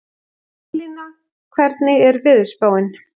Haflína, hvernig er veðurspáin?